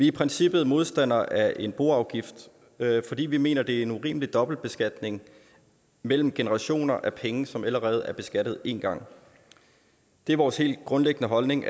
i princippet modstandere af en boafgift fordi vi mener at det er en urimelig dobbeltbeskatning mellem generationer af penge som allerede er beskattet en gang det er vores helt grundlæggende holdning